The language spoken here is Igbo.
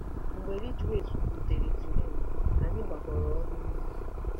Mgbe Ridgeways rutere Turin, anyị gbakọrọ ọnụ ụlọ.